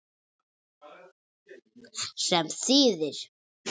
Sem þýðir